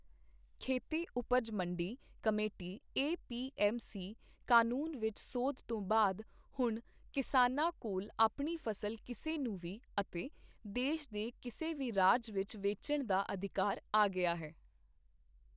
ਖੇਤੀ ਉਪਜ ਮੰਡੀ committee A P M C ਕਾਨੂੰਨ ਵਿੱਚ ਸੋਧ ਤੋਂ ਬਾਅਦ, ਹੁਣ ਕਿਸਾਨਾਂ ਕੋਲ ਆਪਣੀ ਫ਼ਸਲ ਕਿਸੇ ਨੂੰ ਵੀ ਅਤੇ ਦੇਸ਼ ਦੇ ਕਿਸੇ ਵੀ ਰਾਜ ਵਿੱਚ ਵੇਚਣ ਦਾ ਅਧਿਕਾਰ ਆ ਗਿਆ ਹੈ।